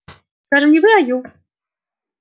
скажем не вы а ю